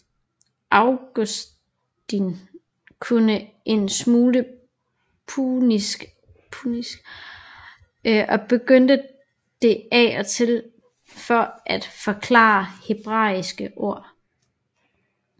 Augustin kunne en smule punisk og brugte det af og til for at forklare hebraiske ord